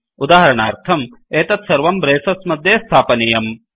उदाहरणार्थं एतत् सर्वं ब्रेसस् मध्ये स्थापनीयम्